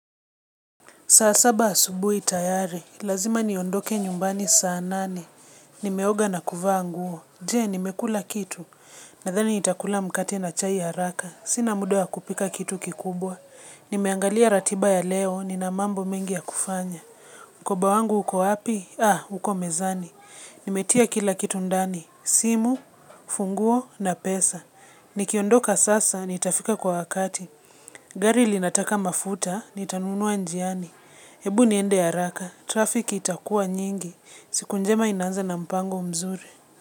Saa saba asubuhi tayari, lazima niondoke nyumbani saa nane. Nimeoga na kuvaa nguo. Je, nimekula kitu. Nadhani nitakula mkate na chai haraka. Sina muda wa kupika kitu kikubwa. Nimeangalia ratiba ya leo, nina mambo mengi ya kufanya. Mkoba wangu uko api? Ah, uko mezani. Nimetia kila kitu ndani simu, funguo na pesa. Nikiondoka sasa, nitafika kwa wakati. Gari linataka mafuta, nitanunua njiani. Hebu niende haaka, trafiki itakua nyingi, siku njema inaanza na mpango mzuri.